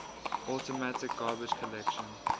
automatic garbage collection